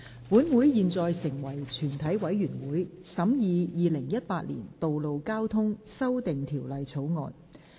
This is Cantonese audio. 本會現在成為全體委員會，審議《2018年道路交通條例草案》。